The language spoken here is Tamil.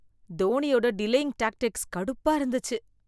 தோனியோட டிலேயிங் டேக்டிக்ஸ் கடுப்பா இருந்துச்சு.